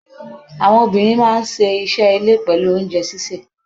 Àwọn obìnrin máa ń ṣe iṣẹ́ ilé pẹ̀lú oúnjẹ sísè.